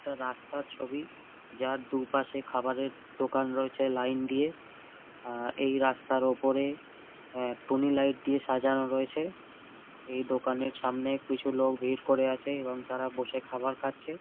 এটা রাস্তার ছবি যার দুপাশে খাবারের দোকান রয়েছে লাইন দিয়ে আর এই রাস্তার ওপরে অ্যা টুনি লাইট দিয়ে সাজানো রয়েছে এই দোকানের সামনে কিছু লোক ভিড় করে আছে এবং তারা বসে খাবার খাচ্ছে।